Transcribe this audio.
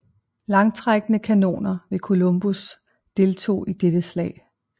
Langtrækkende kanoner ved Columbus deltog i dette slag